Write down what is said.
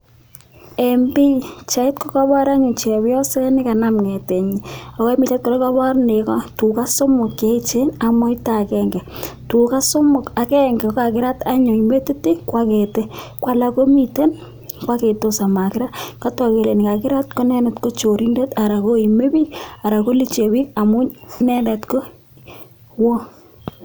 Eng pichait ko kabaar anyuun chepyoset nekanam chorweet nyiin eng pichait kora ko kabaar tugaah somok che eecheen ak moita agenge tugaah somok ko agenge ko kakiraat eng metit ii ko alaak komiteen ko agetos ak makiraat kataak kole nekikiraat ko inendet ko choribdeet anan koimee biik Ara ko luchee biik amuun inendet ko wooh.